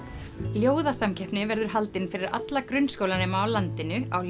ljóðasamkeppni verður haldin fyrir alla grunnskólanema á landinu á